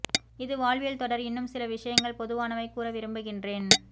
இது வாழ்வியல் தொடர் இன்னும் சில விஷயங்கள் பொதுவானவை கூற விரும்புகின்றேன்